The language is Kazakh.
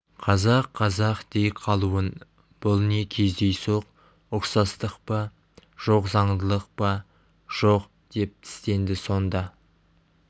қазақ қазақ дей қалуын бұл не кездейсоқ ұқсастық па жоқ заңдылық па жоқ деп тістенді сонда